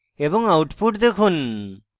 এবং output দেখুন